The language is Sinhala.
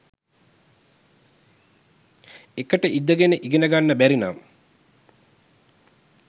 එකට ඉඳගෙන ඉගෙන ගන්න බැරිනම්